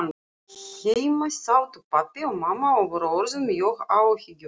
Heima sátu pabbi og mamma og voru orðin mjög áhyggjufull.